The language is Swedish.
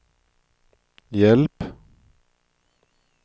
hjälp